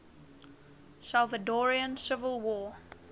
salvadoran civil war